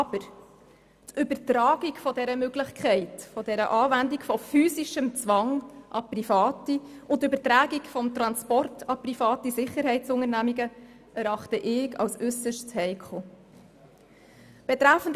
Aber die Übertragung der Möglichkeit der Anwendung von physischem Zwang an Private und die Übertragung des Transports an private Sicherheitsunternehmungen erachte ich als äusserst heikel.